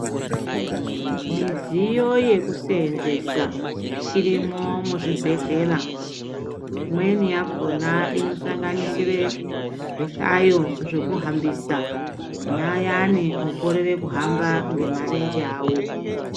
Midziyo yekusevenzesa irimwo muzvibhedhlera imweni yakona inosanganisira zvihlayo zvekuhambisa kune ayani okorera kuhamba ngemarenje awo.